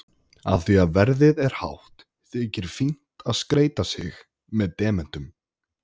Af því að verðið er hátt þykir fínt að skreyta sig með demöntum.